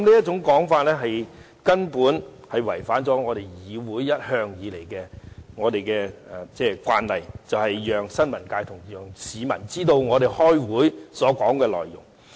這做法違反了議會一向的慣例，便是讓新聞界、市民知道立法會會議的討論內容。